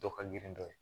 Dɔ ka girin dɔ ye